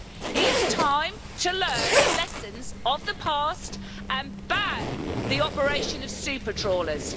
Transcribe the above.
It is time to learn the lessons of the past and ban the operation of super trawlers.